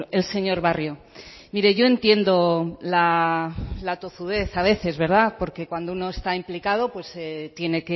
el señor barrio mire yo entiendo la tozudez a veces verdad porque cuando uno está implicado pues tiene